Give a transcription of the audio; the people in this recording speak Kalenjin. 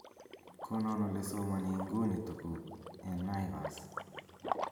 konon olesomoni inguni tuguk en naivas